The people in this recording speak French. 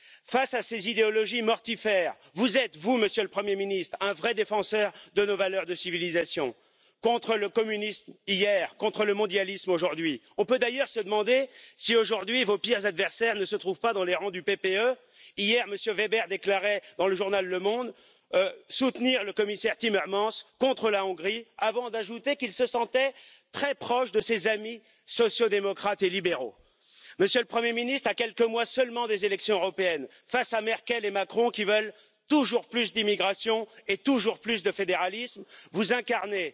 Face à ces idéologies mortifères, vous êtes, vous, Monsieur le Premier ministre, un vrai défenseur de nos valeurs de civilisation, contre le communisme hier, contre le mondialisme aujourd'hui. On peut d'ailleurs se demander si aujourd'hui vos pires adversaires ne se trouvent pas dans les rangs du PPE. Hier, M. Weber déclarait, dans le journal Le Monde soutenir le commissaire Timmermans contre la Hongrie, avant d'ajouter qu'il se sentait très proche de ses amis sociaux démocrates et libéraux. Monsieur le Premier ministre, à quelques mois seulement des élections européennes face à Merkel et Macron qui veulent toujours plus d'immigration et toujours plus de fédéralisme, vous incarnez,